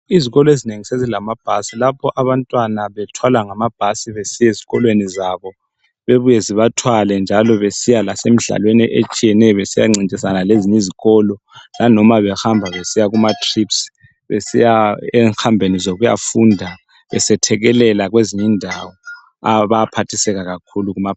Izikolezinengi sezilamaBhasi lapho abantwana bethwala ngamabhasi amabhasi besiyeZikolweni zabo bebuye zibathwale njalo besiya lasemidlalweni etshiyeneyo besiyancintisana lezinyiZikolo nanoma behamba besiya kumaTrips besiya enghambeni zokuya funda besethekelela kwezinyindawo abaphathiseka kakhulu kuma,